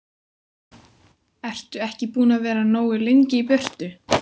Ertu ekki búinn að vera nógu lengi í burtu.